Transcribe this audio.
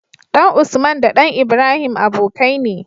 ɗan usman da ɗan ibrahim abokai ne